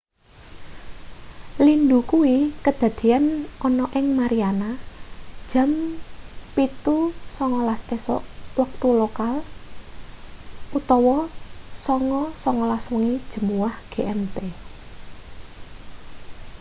lindhu kuwi kadadeyan ana ing mariana jam 07.19 esuk wektu lokal 09.19 wengi jemuah gmt